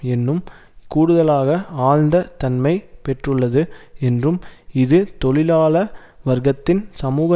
இன்னும் கூடுதலாக ஆழ்ந்த தன்மையை பெற்றுள்ளது என்றும் இது தொழிலாள வர்க்கத்தின் சமூக